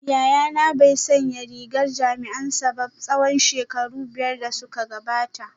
Yayana bai sanya rigar jami’ansa ba tsawon shekaru biyar da suka gabata